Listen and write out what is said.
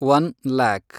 one‍ lac